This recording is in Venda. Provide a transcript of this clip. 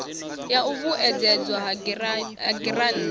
ya u vhuedzedzwa ha giranthi